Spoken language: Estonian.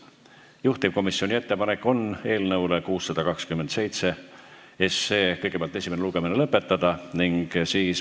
Juhtivkomisjoni ettepanek on eelnõu 627 esimene lugemine lõpetada.